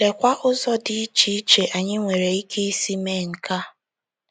Lekwa ụzọ dị iche iche anyị nwere ike isi mee nke a.